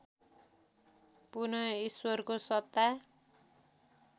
पुन ईश्वरको सत्ता